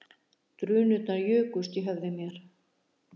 Drunurnar jukust í höfði mér